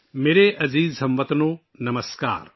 میرے پیارے ہم وطنو! نمسکار